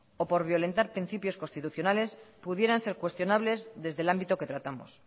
o por violentar principios constitucionales pudieran ser cuestionables desde el ámbito que tratamos